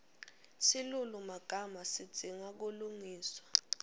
silulumagama sidzinga kulungiswa